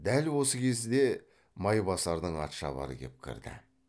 дәл осы кезіде майбасардың атшабары кеп кірді